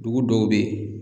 Dugu dɔw bɛ yen.